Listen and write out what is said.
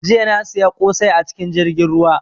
Jiya na siya kosai a cikin jirgin ruwa